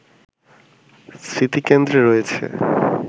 স্মৃতিকেন্দ্রে রয়েছে